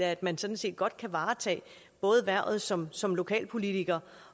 at man sådan set godt kan varetage både hvervet som som lokalpolitiker